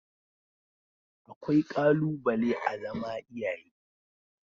Akwai ƙalubale a zama iyaye